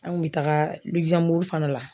An kun bɛ taaga Luxemburg fana la.